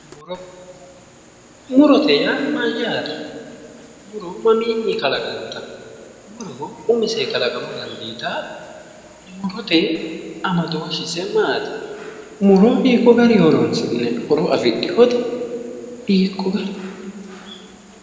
Muro, murote yaa mayaate, muro maminni qalaqantano, muro umisenni kalaqama dandiittano, murote amadoshise maati, muro hiikko garinni horonsi'nanni ,horo afidhinote hiikko garinni.